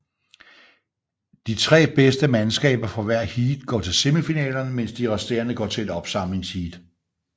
De tre bedste mandskaber fra hvert heat går til semifinalerne mens de resterende går til ét opsamlingsheat